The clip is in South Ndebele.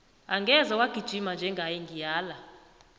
angeze wagijima njengaye ngiyala